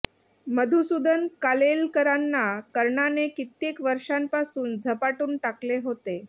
मधुसूदन कालेलकरांना कर्णाने कित्येक वर्षांपासून झपाटून टाकले होते